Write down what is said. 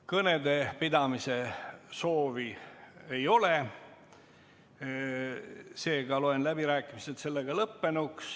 Kõnede pidamise soovi ei ole, seega loen läbirääkimised lõppenuks.